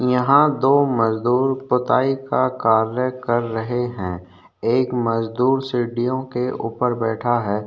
यहाँ दो मजदुर पोताई का कार्य कर रहे है एक मजदुर सीढ़ियों के ऊपर बैठा है।